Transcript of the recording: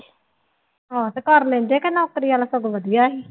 ਆਹੋ ਤੇ ਕਰ ਲੈਂਦੇ ਕਿ ਨੌਕਰੀ ਵਾਲਾ ਸਗੋਂ ਵਧੀਆ ਸੀ।